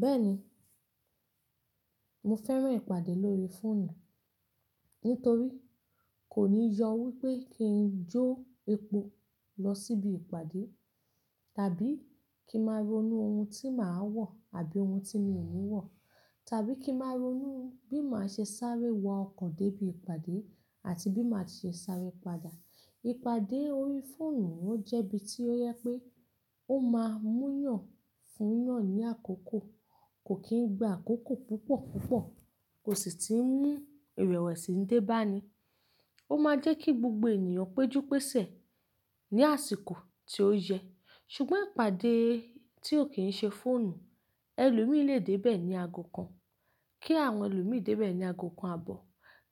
Bẹ́ẹ̀ni, mo fẹ́ràn ìpàdé lórí fóònù. Nítorí kò ní yọ wípé kí n jó epo lọ síbi ìpàdé tàbí kí máa ronú ohun tí màá wọ̀ àbí ohun tí mi ò ní wọ̀ tàbí kí máa ronú bí màá ṣe sáré wọ ọkọ̀ dé ibi ìpàdé àti bí màá ṣe sáré padà. Ìpàdé orí fóònù ó jẹ́ bí tí ó jẹ pé ó máa múyàn fún yàn ní àkókò, kò kí n gbà àkókò púpọ̀ púpọ̀, kò sì tí ń mú ìrẹ̀wẹ̀sì dé bá ni. Ó máa jẹ́ kí gbogbo ènìyàn péjú pésẹ̀ ní àsìkò tí ó yẹ. Ṣùgbọ́n ìpàdé tí ò kí ń ṣe fóònù, ẹlòmíì lè dé bẹ́ẹ̀ ní ago kan, kí àwọn ẹlòmíì dé bẹ́ẹ̀ ní ago kan àbọ̀,